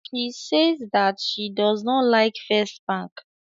She sais that she does not like First Bank